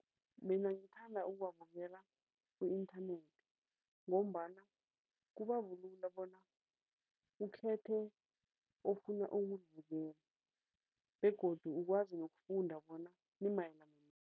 Mina ngithanda ukuwabukela ku-inthanethi ngombana kubabulula bona ukhethe ofuna ukuyibukela begodu ukwazi nokufunda bona limayelana nani.